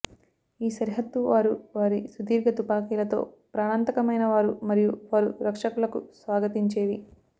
ఈ సరిహద్దు వారు వారి సుదీర్ఘ తుపాకీలతో ప్రాణాంతకమైనవారు మరియు వారు రక్షకులకు స్వాగతించేవి